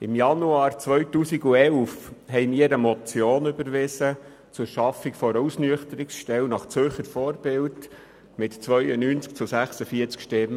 Im Januar 2011 überwiesen wir die Motion zur Schaffung einer Ausnüchterungsstelle nach Zürcher Vorbild mit 92 zu 64 Stimmen.